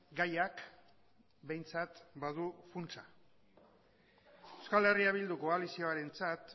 gaiak behintzat badu funtsa euskal herria bildu koalizioarentzat